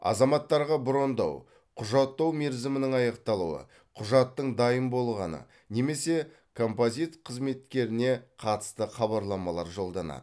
азаматтарға брондау құжаттау мерзімінің аяқталуы құжаттың дайын болғаны немесе композит қызметкеріне қатысты хабарламалар жолданады